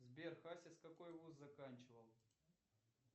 сбер хасис какой вуз заканчивал